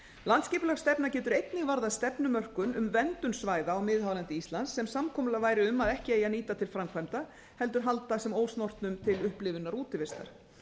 landsskipulagsstefna getur einnig varðað stefnumörkun um verndun svæða á miðhálendi íslands sem samkomulag væri um að ekki eigi að nýta til framkvæmda heldur halda sem ósnortnum til upplifunar og útivistar